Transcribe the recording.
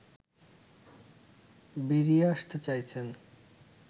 বেরিয়ে আসতে চাইছেন